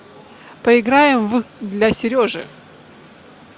поиграем в для сережи